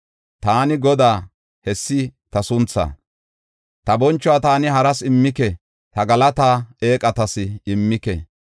Taani Godaa; hessi ta sunthaa; ta bonchuwa taani haras immike; ta galataa eeqatas immike.